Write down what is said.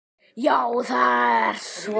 Já það er svo.